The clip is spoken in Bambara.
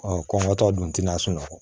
Ɔ kɔnkɔtɔ don tin na a sunɔgɔ